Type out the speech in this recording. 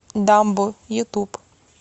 дамбо ютуб